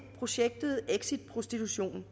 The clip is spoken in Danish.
projektet exit prostitution